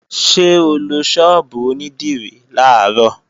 Ṣé o lọ ṣọ́ọ̀bù onídìrí làárọ̀?